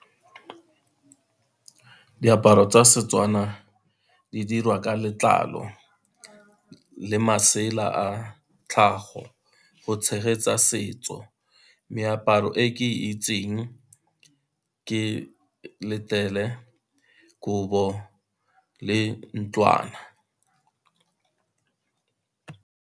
Diaparo tsa seTswana di dirwa ka letlalo le masela a tlhago, go tshegetsa setso. Meaparo e ke itseng ke letele, kobo le ntlwana.